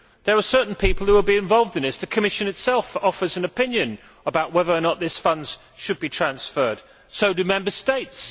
There are certain people who have been involved in this, the Commission itself offers an opinion about whether or not these funds should be transferred and so do Member States.